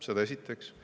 Seda esiteks.